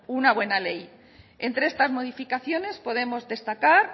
una buena ley entre estas modificaciones podemos destacar